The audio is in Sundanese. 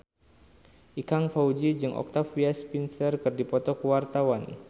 Ikang Fawzi jeung Octavia Spencer keur dipoto ku wartawan